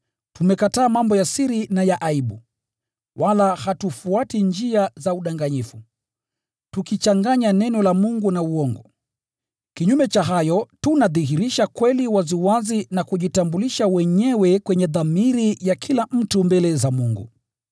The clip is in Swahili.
Tumekataa mambo ya siri na ya aibu, wala hatufuati njia za udanganyifu, tukichanganya Neno la Mungu na uongo. Kinyume cha hayo, tunadhihirisha kweli waziwazi na kujitambulisha wenyewe kwenye dhamiri ya kila mtu mbele za Mungu.